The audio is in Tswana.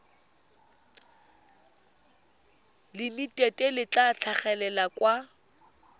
limited le tla tlhagelela kwa